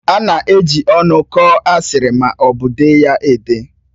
A na-eji ọnụ kọọ asịrị ma ọ bụ dee ya ede